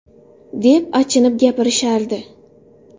!”, deb achinib gapirishardi.